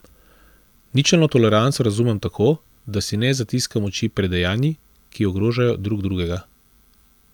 Ničelno toleranco razumem tako, da si ne zatiskamo oči pred dejanji, ki ogrožajo drugega.